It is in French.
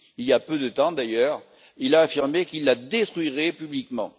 Il y a peu de temps d'ailleurs, il a affirmé qu'il la détruirait publiquement.